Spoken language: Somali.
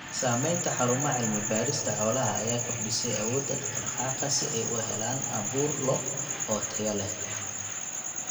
Samaynta xarumaha cilmi-baarista xoolaha ayaa kordhisay awoodda dhaq-dhaqaaqa si ay u helaan abuur lo' oo tayo leh.